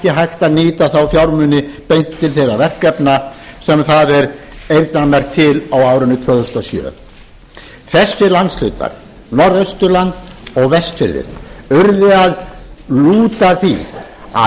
hægt að nýta þá fjármuni beint til þeirra verkefna sem þar er eyrnamerkt til á árinu tvö þúsund og sjö þessir landshlutar norðausturland og vestfirðirnir urðu að lúta því að